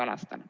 Aitäh!